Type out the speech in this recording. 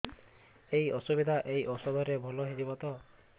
ଏଇ ଅସୁବିଧା ଏଇ ଔଷଧ ରେ ଭଲ ହେଇଯିବ ତ